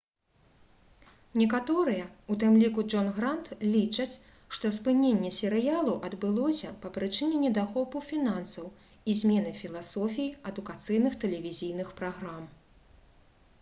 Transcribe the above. некаторыя у тым ліку джон грант лічаць што спыненне серыялу адбылося па прычыне недахопу фінансаў і змены філасофіі адукацыйных тэлевізійных праграм